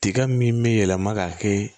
Tiga min bɛ yɛlɛma ka kɛ